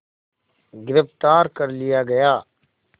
गिरफ़्तार कर लिया गया